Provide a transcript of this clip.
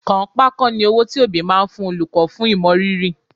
Kànńpá kọ́ ni owó tí òbí máa ń fún olùkọ́ fún ìmọrírì